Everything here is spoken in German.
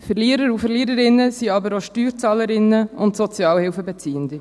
Verlierer und Verliererinnen sind aber auch Steuerzahlerinnen und Sozialhilfebeziehende.